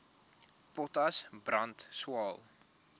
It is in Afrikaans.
potas brand swael